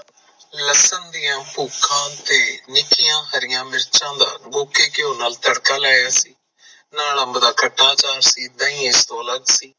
ਲਸਮ ਦਾ ਪੁਖਾ ਤੇ ਵਿਚਆਂ ਹਰੀਆਂ ਮਿਰਚਾਂ ਦਾ ਦੇਸੀ ਕੀਯੋ ਨਾਲ ਤੜਕਾ ਲਾਇਆ ਸੀ ਨਾਲ ਅੰਬ ਦਾ ਖਤਾ ਅਚਾਰ ਸੀ, ਡਾਹੀ ਇਸ ਤੋਂ ਅਲੱਗ ਸੀ